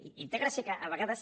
i té gràcia que a vegades